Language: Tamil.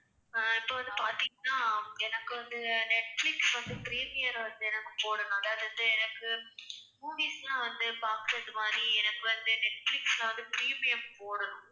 ஆஹ் இப்ப வந்து பார்த்தீங்கன்னா எனக்கு வந்து நெட்பிலிஸ் வந்து premier வந்து நமக்குப் போடணும். அதாவது வந்து எனக்கு movies எல்லாம் வந்து பார்க்கிறது மாதிரி எனக்கு வந்து நெட்பிலிஸ்ல வந்து premium போடணும்